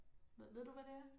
Ved du, hvad det er?